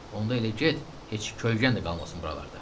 Onda elə get, heç kölgən də qalmasın buralarda.